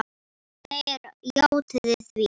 Þeir játuðu því.